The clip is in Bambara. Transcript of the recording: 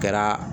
Kɛra